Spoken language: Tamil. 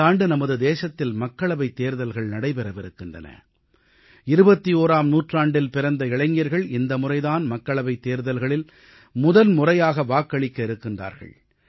இந்த ஆண்டு நமது தேசத்தில் மக்களவைத் தேர்தல்கள் நடைபெறவிருக்கின்றன 21ஆம் நூற்றாண்டில் பிறந்த இளைஞர்கள் இந்தமுறை தான் மக்களவைத் தேர்தல்களில் முதன்முறையாக வாக்களிக்க இருக்கின்றார்கள்